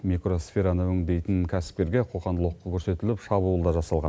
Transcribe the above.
микросфераны өңдейтін кәсіпкерге қоқаң лоққы көрсетіліп шабуыл да жасалған